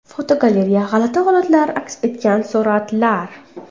Fotogalereya: G‘alati holatlar aks etgan suratlar.